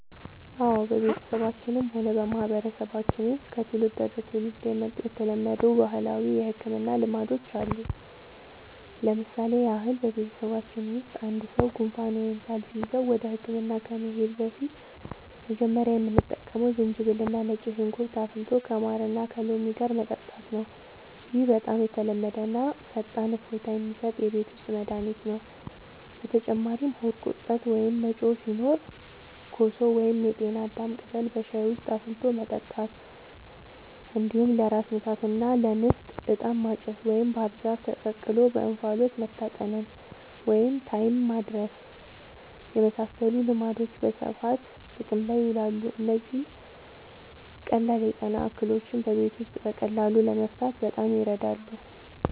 አዎ፣ በቤተሰባችንም ሆነ በማህበረሰባችን ውስጥ ከትውልድ ወደ ትውልድ የመጡ የተለመዱ ባህላዊ የሕክምና ልማዶች አሉ። ለምሳሌ ያህል፣ በቤተሰባችን ውስጥ አንድ ሰው ጉንፋን ወይም ሳል ሲይዘው ወደ ሕክምና ከመሄዳችን በፊት መጀመሪያ የምንጠቀመው ዝንጅብልና ነጭ ሽንኩርት አፍልቶ ከማርና ከሎሚ ጋር መጠጣት ነው። ይህ በጣም የተለመደና ፈጣን እፎይታ የሚሰጥ የቤት ውስጥ መድኃኒት ነው። በተጨማሪም ሆድ ቁርጠት ወይም መጮህ ሲኖር ኮሶ ወይም የጤና አዳም ቅጠል በሻይ ውስጥ አፍልቶ መጠጣት፣ እንዲሁም ለራስ ምታትና ለንፍጥ «ዕጣን ማጨስ» ወይም ባህር ዛፍ ተቀቅሎ በእንፋሎት መታጠንን (ታይም ማድረስ) የመሳሰሉ ልማዶች በስፋት ጥቅም ላይ ይውላሉ። እነዚህ ቀላል የጤና እክሎችን በቤት ውስጥ በቀላሉ ለመፍታት በጣም ይረዳሉ።